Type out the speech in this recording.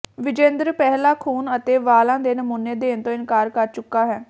ਵਿਜੇਂਦਰ ਪਹਿਲਾਂ ਖੂਨ ਅਤੇ ਵਾਲਾਂ ਦੇ ਨਮੂਨੇ ਦੇਣ ਤੋਂ ਇਨਕਾਰ ਕਰ ਚੁੱਕਾ ਹੈ